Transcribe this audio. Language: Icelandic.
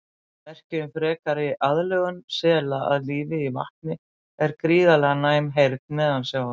Merki um frekari aðlögun sela að lífi í vatni er gríðarlega næm heyrn neðansjávar.